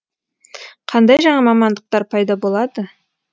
қандай жаңа мамандықтар пайда болады